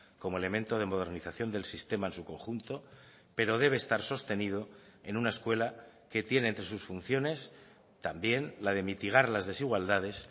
como elemento de modernización del sistema en su conjunto pero debe estar sostenido en una escuela que tiene entre sus funciones también la de mitigar las desigualdades